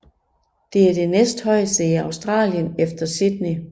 Det er det næsthøjeste i Australien efter Sydney